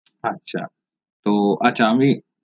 আচ্ছা তো আচ্ছা আমি